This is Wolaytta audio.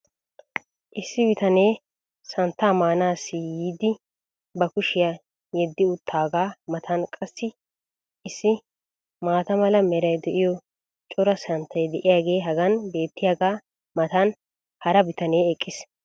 Issi bitanee santtaa maanaassi yiidi ba kushiyaa yeddi utaagaa matan qassi issi maata mala meray de'iyo cora santtay diyaagee hagan beetiyaagaa matan hara bitanee eqqiis.